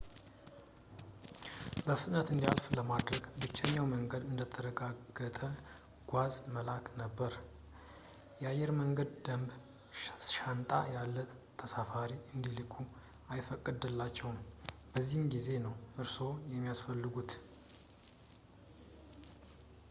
በፍጥነት እንዲያልፍ ለማድረግ ብቸኛው መንገድ እንደተረጋገጠ ጓዝ መላክ ነበር የአየር መንገድ ደንብ ሻንጣ ያለ ተሳፋሪ እንዲልኩ አይፈቅድላቸውም በዚህ ጊዜ ነው እርስዎ የሚያስፈልጉት